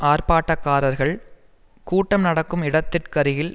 ஆர்ப்பாட்டக்காரர்கள் கூட்டம் நடக்கும் இடத்திற்கருகில்